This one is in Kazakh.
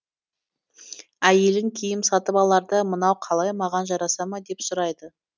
әйелің киім сатып аларда мынау қалай маған жараса ма деп сұрайды